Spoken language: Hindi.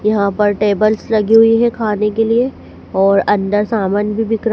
यहां पर टेबल्स लगी हुई है खाने के लिए और अंदर सामान भी बिक रा--